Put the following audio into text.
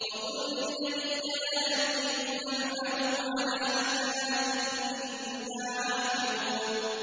وَقُل لِّلَّذِينَ لَا يُؤْمِنُونَ اعْمَلُوا عَلَىٰ مَكَانَتِكُمْ إِنَّا عَامِلُونَ